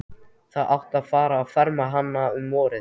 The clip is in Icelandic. Það átti að fara að ferma hana um vorið.